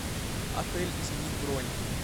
отель изменить бронь